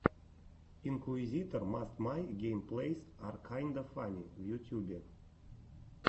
инкуизитор мастер май геймплэйс ар кайнда фанни в ютьюбе